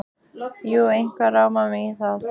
Jú, eitthvað rámar mig í það.